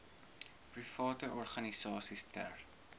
private organisasies ter